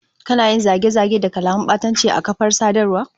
Kana yin zage-zage da kalaman batanci a kafar sadarwa?